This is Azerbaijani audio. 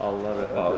Allah rəhmət eləsin.